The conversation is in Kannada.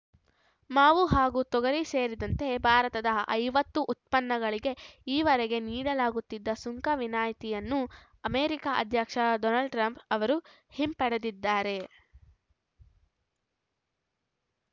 ಮಾವು ಹಾಗೂ ತೊಗರಿ ಸೇರಿದಂತೆ ಭಾರತದ ಐವತ್ತು ಉತ್ಪನ್ನಗಳಿಗೆ ಈವರೆಗೆ ನೀಡಲಾಗುತ್ತಿದ್ದ ಸುಂಕ ವಿನಾಯಿತಿಯನ್ನು ಅಮೆರಿಕ ಅಧ್ಯಕ್ಷ ಡೊನಾಲ್ಡ್‌ ಟ್ರಂಪ್‌ ಅವರು ಹಿಂಪಡೆದಿದ್ದಾರೆ